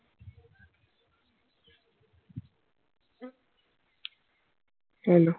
hello